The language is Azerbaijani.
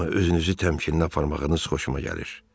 Amma özünüzü təmkinə aparmağınız xoşuma gəlir.